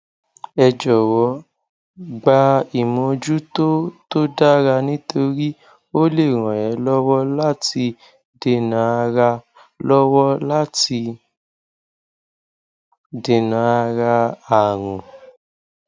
ẹ jọwọ gba ìmójútó tó dára nítorí ó lè ràn é lọwọ láti dènàárà lọwọ láti dènàárà àrùn